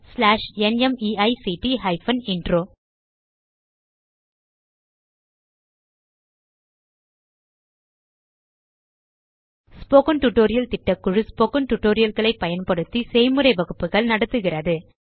spoken tutorial திட்டக்குழு spoken tutorial களை பயன்படுத்தி செய்முறை வகுப்புகள் நடத்துகிறது